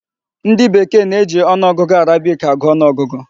Ndị bekee na-eji ọnụọgụ Arabic agụ ọnụ ọgụgụ.